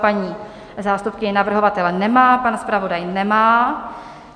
Paní zástupkyně navrhovatele nemá, pan zpravodaj nemá.